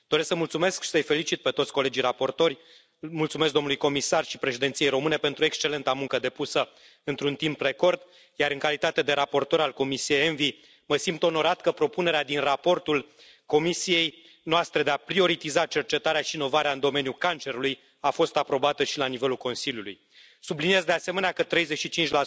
Doresc să mulțumesc și să îi felicit pe toți colegii raportori, mulțumesc domnului comisar și președinției române pentru excelenta muncă depusă într un timp record, iar, în calitate de raportor al Comisiei ENVI, mă simt onorat că propunerea din raportul comisiei noastre de a prioritiza cercetarea și inovarea în domeniul cancerului a fost aprobată și la nivelul Consiliului. Subliniez, de asemenea, că 35